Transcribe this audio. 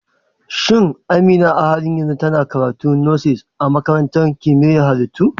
Shin Amina a halin yanzu tana karatun Nursing a Makarantar Kimiyyar Halittu?